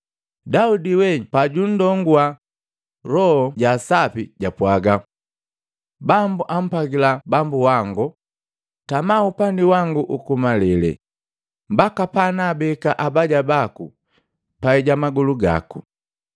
Daudi wee pajunndonguwa Loho Jaasapi, jwapwaga, ‘Bambu ampwagila Bambu wango Tama upandi wangu uku malele, mbaka panaabeka abaya baku pai ja magolu gako.’